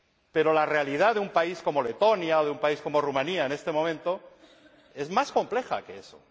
Pero la realidad de un país como Letonia o de un país como Rumanía, en este momento, es más compleja que eso.